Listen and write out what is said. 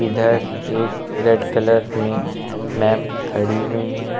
इधर एक red colour मे मैम खड़ी हुई है।